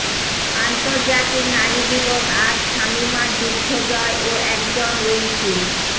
আন্তর্জাতিক নারী দিবস আজ শামীমার যুদ্ধজয় ও একজন রইসুল